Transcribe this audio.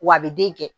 W'a be den kɛ